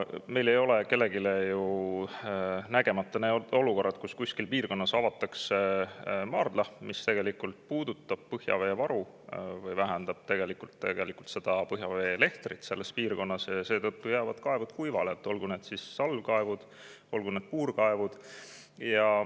Meil ei ole ju kellelegi jäänud nägemata olukorrad, kus kuskil piirkonnas avatakse maardla, mis puudutab põhjaveevaru või vähendab põhjavee lehtrit selles piirkonnas, ja seetõttu jäävad kaevud kuivale, olgu need salvkaevud või puurkaevud.